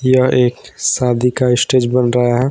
यह एक शादी का स्टेज बन रहा है।